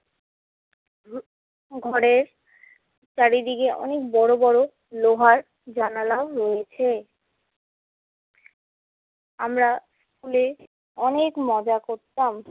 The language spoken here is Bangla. ঘরের চারিদিকে অনেক বড় বড় লোহার জানালাও রয়েছে। আমরা স্কুলে অনেক মজা করতাম।